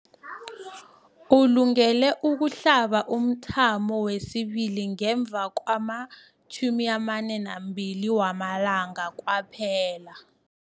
Ulungele ukuhlaba umthamo wesibili ngemva kwama-42 wamalanga kwaphela.